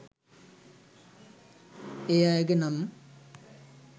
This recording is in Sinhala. ඒ අයගේ නම්